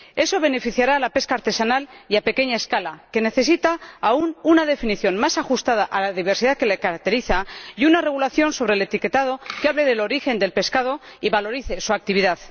Eso beneficiará a la pesca artesanal y a pequeña escala, que necesita aún una definición más ajustada a la diversidad que la caracteriza y una regulación sobre el etiquetado que hable del origen del pescado y valorice su actividad.